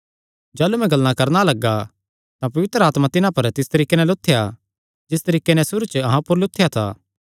जाह़लू मैं गल्लां करणा लग्गा तां पवित्र आत्मा तिन्हां पर तिस तरीके नैं लुत्थेया जिस तरीके नैं सुरू च अहां ऊपर लुत्थेया था